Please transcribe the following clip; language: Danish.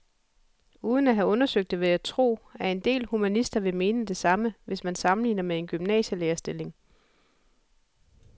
Uden at have undersøgt det vil jeg tro, at en del humanister vil mene det samme, hvis man sammenligner med en gymnasielærerstilling.